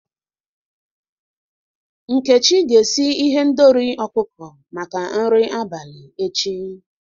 Nkechi ga-esi ihendori ọkụkọ maka nri abalị echi.